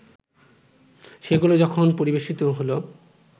সেগুলো যখন পরিবেশিত হলো